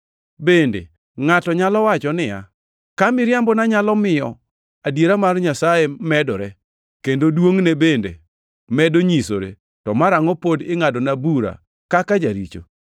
Bende ngʼato nyalo wacho niya, “Ka miriambona nyalo miyo adiera mar Nyasaye medore, kendo duongʼne bende medo nyisore to marangʼo pod ingʼadona bura kaka jaricho?”